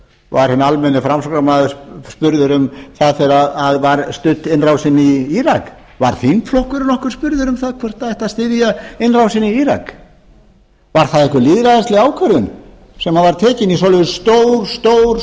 var hinn almenni framsóknarmaður spurður um það þegar var studd innrásin í írak var þingflokkurinn nokkuð spurður um það hvort það ætti að styðja innrásina í írak var það einhver lýðræðisleg ákvörðun sem var tekin í svoleiðis stór stór